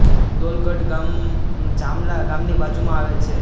દોલગઢ ગામ જામલા ગામ ની બાજુ મા આવેલ છે